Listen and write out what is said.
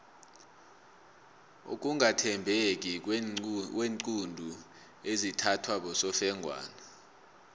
ukungathembeki kweenqundu ezithathwa bosofengwana